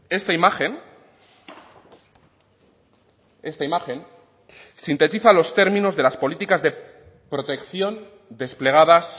esta imagen esta imagen sintetiza los términos de las políticas de protección desplegadas